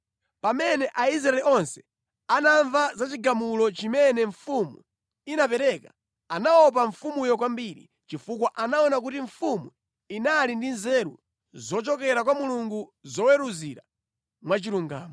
Pamene Aisraeli onse anamva za chigamulo chimene mfumu inapereka, anaopa mfumuyo kwambiri, chifukwa anaona kuti mfumu inali ndi nzeru zochokera kwa Mulungu zoweruzira mwachilungamo.